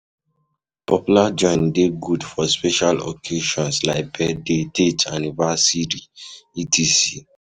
Popular joint de good for special occasions like birthday, dates anniversiry etc.